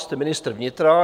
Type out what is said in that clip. Jste ministr vnitra.